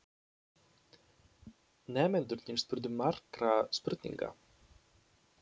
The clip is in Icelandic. Nemendurnir spurðu margra spurninga.